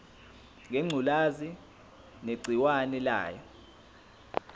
ngengculazi negciwane layo